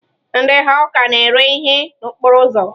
Ndị hawka na-ere ihe n'okporo ụzọ.